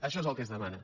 això és el que es demana